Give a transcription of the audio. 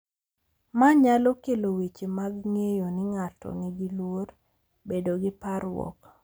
Ma nyalo kelo weche mag ng’eyo ni ng’ato nigi luor, bedo gi parruok,